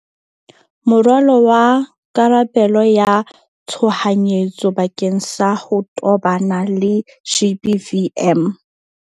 Moralo wa karabelo ya tshohanyetso bakeng sa ho tobana le GBVM